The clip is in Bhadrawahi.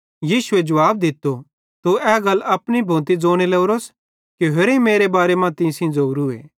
यीशुए जुवाब दित्तो तू ए गल अपनी भोती ज़ोने लोरोस कि होरेईं मेरे बारे मां तीं सेइं ज़ेवरीए